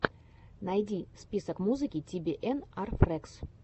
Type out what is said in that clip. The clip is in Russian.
найди список музыки ти би эн ар фрэгс